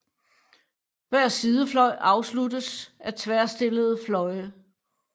Hver sidefløj afsluttes af tværstillede fløje